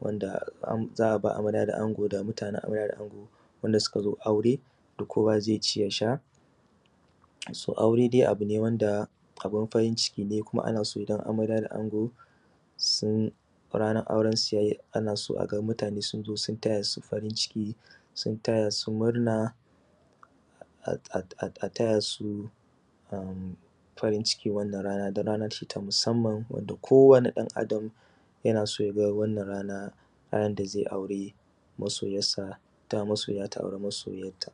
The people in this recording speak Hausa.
wanda za a ba amarya da ango da mutanen amarya da ango wanda suka zo aure yanda kowa zai ci ya sha wato aure abu ne wanda abun farin ciki ne kuma ana so idan amarya da ango sun ranan aurensu ya yi ana so a ga mutane sun zo sun taya su farin ciki sun taya su murna a taya su farin cikin wannan rana don rana ce ta musamman wanda ko wane ɗan adam yana so ya ga wannan rana randa zai aure masoyan sa ita ma masoyanta ta auri masoyanta